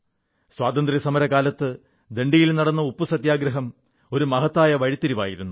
സ്വാതന്ത്ര്യസമരകാലത്ത് ദണ്ഡിയിൽ നടന്ന ഉപ്പുസത്യാഗ്രഹം ഒരു മഹത്തായ വഴിത്തിരിവായിരുന്നു